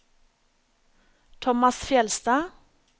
Thomas Fjeldstad